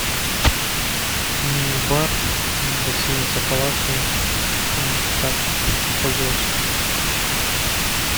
мини бар гостиница палаццо как пользоваться